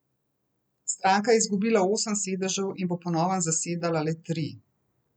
Stranka je izgubila osem sedežev in bo po novem zasedala le tri.